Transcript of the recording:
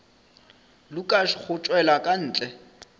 lukas go tšwela ka ntle